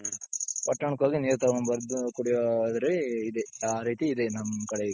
ಪಟ್ಟಣ್ಣಕ್ಕ್ ಹೋಗಿ ನೀರ್ ತಗೊಂಡ್ ಬಂದು ಕುಡಿಯೋ ಇದ್ರಲ್ಲಿ ಇದೆ ಆ ರೀತಿ ಇದೆ ನಮ್ ಕಡೆ ಈಗ.